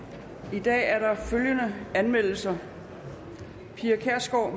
i dag er der følgende anmeldelser pia kjærsgaard